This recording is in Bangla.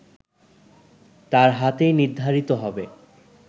তার হাতেই নির্ধারিত হবে